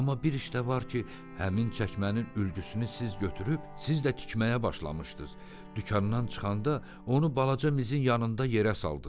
Amma bir iş də var ki, həmin çəkmənin ülgüsünü siz götürüb siz də tikməyə başlamışdız, dükandan çıxanda onu balaca mizin yanında yerə saldız.